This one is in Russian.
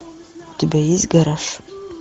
у тебя есть гараж